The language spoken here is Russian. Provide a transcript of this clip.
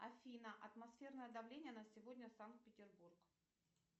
афина атмосферное давление на сегодня санкт петербург